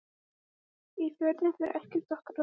Í Fjörðinn fer ekkert okkar oftar.